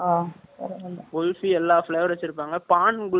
குல்ஃபி, எல்லா flavour வச்சிருப்பாங்க, பான் குல்ஃபி ஒண்ணு வச்சிருப்பாங்க